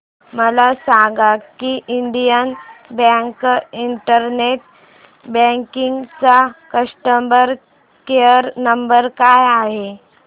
मला सांगा की इंडियन बँक इंटरनेट बँकिंग चा कस्टमर केयर नंबर काय आहे